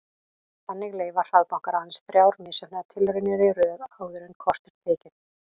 Þannig leyfa hraðbankar aðeins þrjár misheppnaðar tilraunir í röð áður en kort er tekið.